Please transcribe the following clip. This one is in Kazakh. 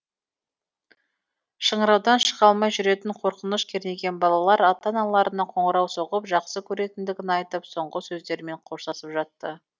шыңыраудан шыға алмай жүрегін қорқыныш кернеген балалар ата аналарына қоңырау соғып жақсы көретіндігін айтып соңғы сөздерімен қоштасып жатты